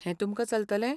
हें तुमकां चलतलें?